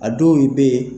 A dɔw bɛ yen